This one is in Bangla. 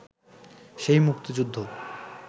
সেই মুক্তিযুদ্ধ